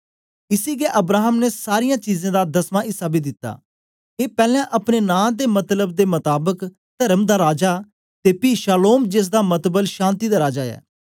इसी गै अब्राहम ने सारीयां चीजें दा दसमा इस्सा बी दिता ए पैलैं अपने नां दे मतलब दे मताबक तर्म दा राजा ते पी शालोम जेसदा मतलब शान्ति दा राजा ऐ